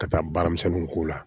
Ka taa baara misɛnninw k'o la